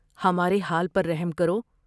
ہمارے حال پر رحم کرو ۔